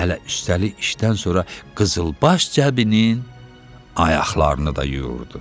Hələ üstəli işdən sonra qızılbaş Cəbinin ayaqlarını da yuyurdu.